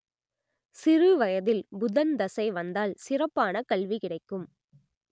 சிறுவயதில் புதன் திசை வந்தால் சிறப்பான கல்வி கிடைக்கும்